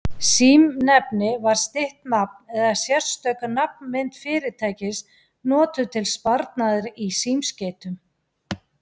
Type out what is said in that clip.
Símnefni var stytt nafn eða sérstök nafnmynd fyrirtækis notuð til sparnaðar í símskeytum.